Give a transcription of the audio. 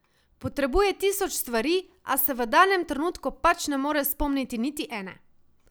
Potrebuje tisoč stvari, a se v danem trenutku pač ne more spomniti niti ene.